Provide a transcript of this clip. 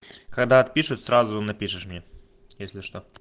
когда отпишут сразу напишешь мне если что